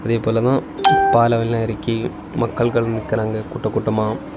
இதே போலத்தான் பாலம்ல எல்லாம் இறக்கி மக்கள்கள் நிக்கிறாங்க கூட்டம் கூட்டமா.